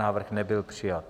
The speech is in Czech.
Návrh nebyl přijat.